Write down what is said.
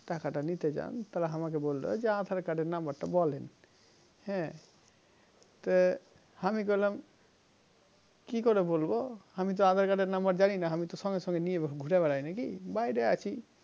টাকাতা নিতে চান তাহলে আমাকে বলবে aadhar card এর number তা বলেন হ্যাঁ তো হামি করলাম কি করে বলবো হামিতো aadhar card এর নাম্বার যানিনা আমি সঙ্গে সঙ্গে খুঁড়ে বেড়াই নাকি বাইরে আছি